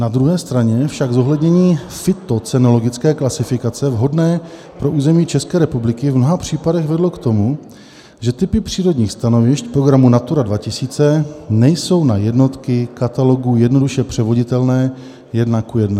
Na druhé straně však zohlednění fytocenologické klasifikace vhodné pro území České republiky v mnoha případech vedlo k tomu, že typy přírodních stanovišť programu Natura 2000 nejsou na jednotky katalogu jednoduše převoditelné jedna ku jedné.